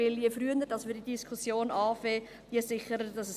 Denn je früher wir diese Diskussion beginnen, desto sicherer ist es.